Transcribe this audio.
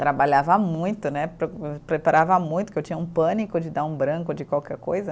Trabalhava muito né, pre preparava muito, que eu tinha um pânico de dar um branco de qualquer coisa.